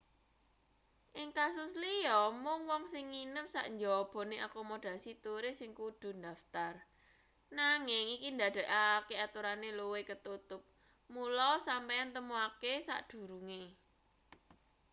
ing kasus liya mung wong sing nginep sak njabane akomodasi turis sing kudu ndaftar nanging iki ndadekake aturane luwih ketutup mula sampeyan temokake sakdurunge